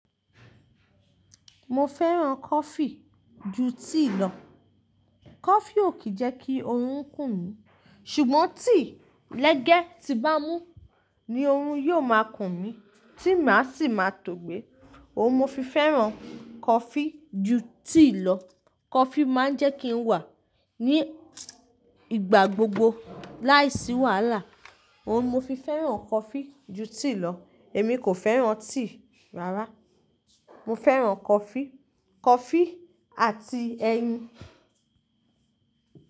Mo fẹ́ràn coffee ju tea lọ. Coffee ò kí ń jẹ́ kí oorun kùn mí, ṣùgbọ́n tea lẹ́gẹ́ tí bá mú ni oorun yóò máa kùn mí, tí má sì máa tó gbé. Òun mo fi fẹ́ràn coffee ju tea lo. Coffee máa ń jẹ́ kí n wà ní ìgbà gbogbo láìsí wàhálà. Òun mo fi fẹ́ràn coffee ju tíì lọ. Èmi kò fẹ́ràn tíì rárá. Mo fẹ́ràn coffee, coffee àti ẹyin.